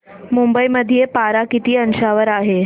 मुंबई मध्ये पारा किती अंशावर आहे